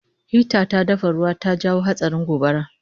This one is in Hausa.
Hita ta dafa ruwa ta jawo hatsarin gobara